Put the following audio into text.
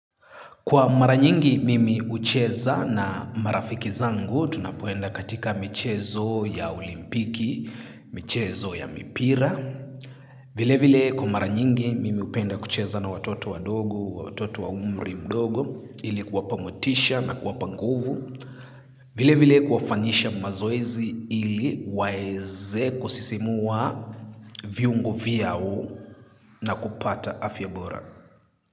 Kwa mara nyingi mimi ucheza na marafiki zangu tunapoenda katika michezo ya olimpiki, michezo ya mipira. Vile vile kwa mara nyingi mimi hupenda kucheza na watoto wadogo wa umri mdogo ilikuwa kuwapa motisha na kuwapa nguvu. Vile vile kufawanyisha mazoezi ili waeze kusisimua viungo vyao na kupata afya bora.